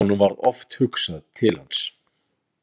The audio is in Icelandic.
Honum varð oft hugsað til hans.